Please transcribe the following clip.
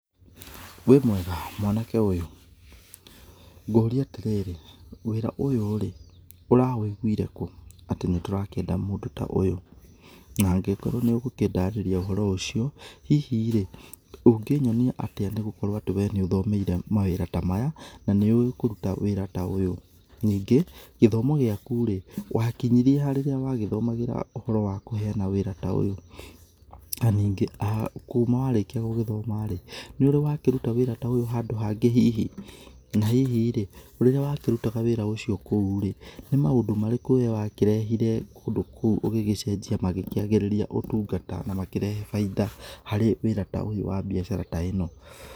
Wĩmwega mwanake ũyũ, ngũrie atĩrĩrĩ wĩra ũyũ rĩ ũrawũĩgũĩre kũ atĩ nĩtũrakĩenda mũndũ ta ũyũ na ngĩkorwo nĩ ũgũkĩndarĩria ũhoro ũcio hihi rĩ ũngĩnyonĩa atĩa nĩgũkorwo nĩ ũthomeire mawĩra ta maya na nĩ ũĩ kũrũta wĩra ta ũyũ nĩ ngĩ gĩthomo gĩakũ rĩ wakĩnmyĩrie ha rĩrĩa wagĩthomagĩra ũhoro wa kũheana wĩra ta ũyũna nĩniĩ ha kũma warĩkia gũgĩthoma rĩ nĩ ũrĩ wakĩrũta wĩra ta ũyũ handũ hangĩ hihi na hihi rĩ rĩrĩa wakĩrũtaga wĩra ũcio kũurĩ nĩmaũndũ marĩkũ we wakĩrehĩre kũu ũgĩgĩcenjia magĩkĩagĩrĩria ũtũngata na makĩrehe baida kũrĩ wĩra ũyũ wa biacara ta ĩno.